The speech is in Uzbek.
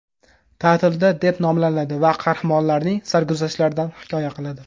Ta’tilda” deb nomlanadi va qahramonlarning sarguzashtlaridan hikoya qiladi.